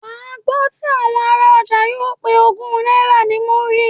Wà á gbọ́ tí àwọn ará ọjà yóò pe ogún náírà ní múrí.